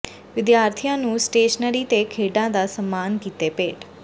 ਵਿਦਿਆਰਥੀਆਂ ਨੂੰ ਸਟੇਸ਼ਨਰੀ ਤੇ ਖੇਡਾਂ ਦਾ ਸਾਮਾਨ ਕੀਤੇ ਭੇਟ